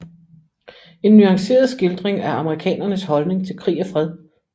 En nuanceret skildring af amerikanernes holdning til krig og fred